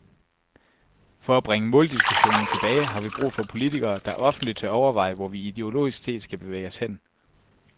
For at bringe måldiskussionen tilbage har vi brug for politikere, der offentligt tør overveje, hvor vi ideologisk set skal bevæge os hen.